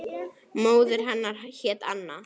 Móðir hennar hét Anna